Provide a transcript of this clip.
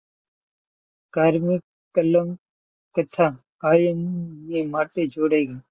કારમી કલમ કથા કાયમ માટે જોડાઈ ગઈ.